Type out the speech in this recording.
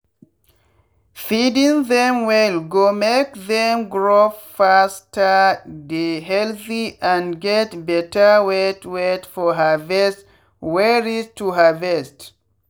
feeding them well go make them grow fasterdey healthy and get better weight weight for harvest wey reach to harvest.